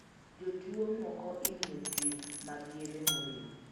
Jotuo moko imiyo thieth mag yedhe moriw.